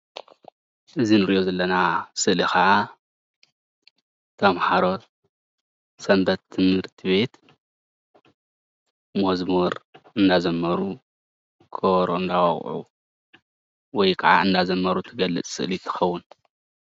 እዚ እንሪኦ ዘለና ስእሊ ከዓ ተማሃሮ ሰንበት ትምህርቲ ቤት መዝሙር እንዳ ዘመሩ ከበሮ እንዳወቅዑ ወይ ከዓ እንዳዘመሩ እትገልፅ ስእሊ ትከውን፡፡